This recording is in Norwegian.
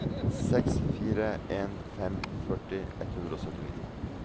seks fire en fem førti ett hundre og syttini